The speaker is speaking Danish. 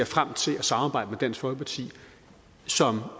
frem til at samarbejde med dansk folkeparti som